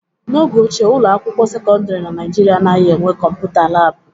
N'oge ochie, ụlọ akwụkwọ sekọndrị na Nigeria anaghị enwe kọmputa laabụ.